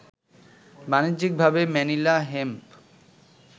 বাণিজ্যিকভাবে Manila hemp